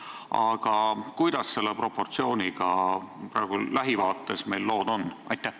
Aga kuidas selle proportsiooniga meil lähivaates lood on?